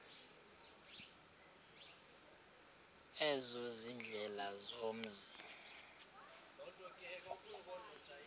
ezo ziindlela zomzi